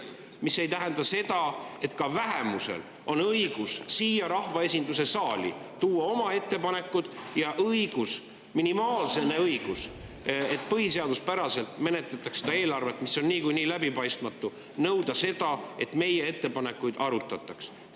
Aga see seda, et ka vähemusel on õigus siia rahvaesinduse saali tuua oma ettepanekuid ja on õigus, minimaalne õigus, et menetletaks põhiseaduspäraselt seda eelarvet, mis on niikuinii läbipaistmatu, ning on nõuda seda, et meie ettepanekuid arutataks.